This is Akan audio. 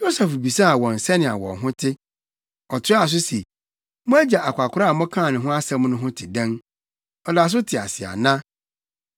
Yosef bisaa wɔn sɛnea wɔn ho te. Ɔtoaa so se, “Mo agya akwakoraa a mokaa ne ho asɛm no ho te dɛn? Ɔda so te ase ana?”